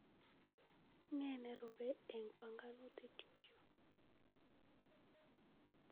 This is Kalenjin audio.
Nee nerupe eng panganutikchu.